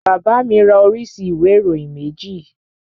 Bàbá mi ra oríṣi ìwé ìròyìn méjì